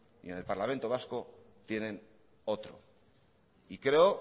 y en el parlamento vasco tienen otro y creo